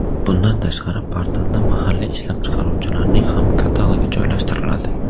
Bundan tashqari, portalda mahalliy ishlab chiqaruvchilarning ham katalogi joylashtiriladi.